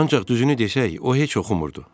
Ancaq düzünü desək, o heç oxumurdu.